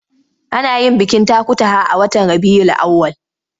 Ana yin bikin takutaha a watan Rabiyul Awwal.